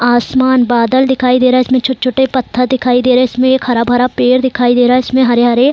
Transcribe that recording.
आसमान बादल दिखाई दे रहा है छोटे-छोटे पत्थर दिखाई दे रहे हैं इसमें हरा-भरा पेड़ दिखाई दे रहा है इसमें हरे-हरे --